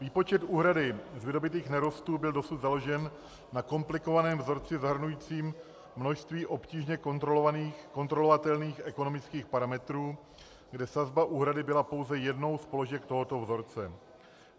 Výpočet úhrady z vydobytých nerostů byl dosud založen na komplikovaném vzorci zahrnujícím množství obtížně kontrolovatelných ekonomických parametrů, kde sazba úhrady byla pouze jednou z položek tohoto vzorce.